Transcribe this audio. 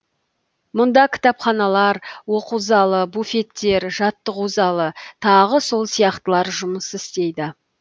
мұнда кітапханалар оқу залы буфеттер жаттығу залы тағы сол сияқтылар жұмыс істейді